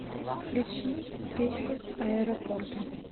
включи песню аэропорты